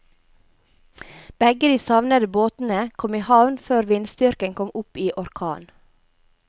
Begge de savnede båtene kom i havn før vindstyrken kom opp i orkan.